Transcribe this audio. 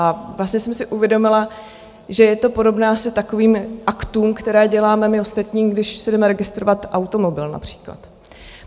A vlastně jsem si uvědomila, že je to podobné asi takovým aktům, které děláme my ostatní, když si jdeme registrovat automobil například.